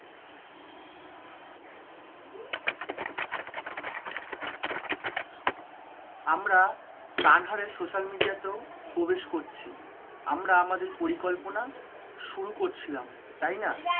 আমরা social media তেও প্রবেশ করছি, আমরা আমাদের পরিকল্পনা শুরু করছিলাম, তাই না?